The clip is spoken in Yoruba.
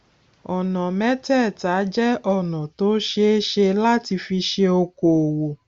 ọnà mẹtẹẹta jẹ ọnà tó ṣeé ṣe láti fi ṣe okoòwò